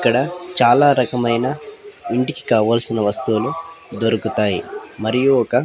ఇక్కడ చాలా రకమైన ఇంటికి కావాల్సిన వస్తువులు దొరుకుతాయి మరియు ఒక --